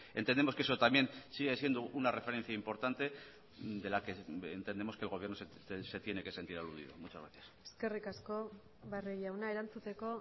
entendemos que eso también sigue siendo una referencia importante de la que entendemos que el gobierno se tiene que sentir aludido muchas gracias eskerrik asko barrio jauna erantzuteko